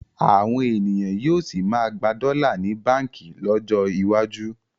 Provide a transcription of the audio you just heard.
Àwọn ènìyàn yóò sì máa gba dọ́là ní báǹkì lọ́jọ́ iwájú